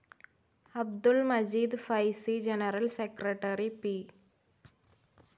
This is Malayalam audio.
Abdul Majeed Faizy, general secretary P.